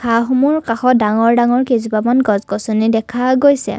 ঘাঁহসমূহৰ কাষত ডাঙৰ ডাঙৰ কেইজোপামান গছ গছনি দেখা গৈছে।